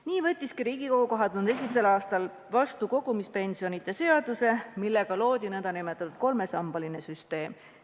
Nii võttiski Riigikogu 2001. aastal vastu kogumispensionide seaduse, millega loodi nn kolmesambaline süsteem.